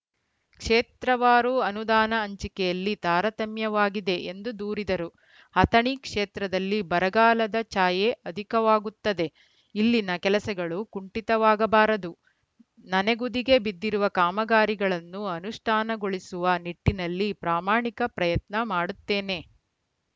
ಕ್ಷೇತ್ರವಾರು ಅನುದಾನ ಹಂಚಿಕೆಯಲ್ಲಿ ತಾರತಮ್ಯವಾಗಿದೆ ಎಂದು ದೂರಿದರು ಅಥಣಿ ಕ್ಷೇತ್ರದಲ್ಲಿ ಬರಗಾಲದ ಛಾಯೆ ಅಧಿಕವಾಗುತ್ತದೆ ಇಲ್ಲಿನ ಕೆಲಸಗಳು ಕುಂಠಿತವಾಗಬಾರದು ನನೆಗುದಿಗೆ ಬಿದ್ದಿರುವ ಕಾಮಗಾರಿಗಳನ್ನು ಅನುಷ್ಠಾನಗೊಳಿಸುವ ನಿಟ್ಟಿನಲ್ಲಿ ಪ್ರಾಮಾಣಿಕ ಪ್ರಯತ್ನ ಮಾಡುತ್ತೇನೆ